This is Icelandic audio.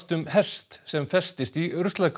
um hest sem festist í